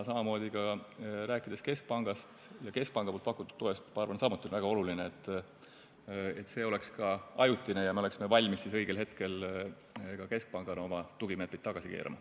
Samamoodi, rääkides keskpangast ja keskpanga pakutud toest, ma arvan, on väga oluline, et see oleks ajutine ja me oleksime valmis õigel hetkel ka keskpangana oma tugimeetmeid tagasi keerama.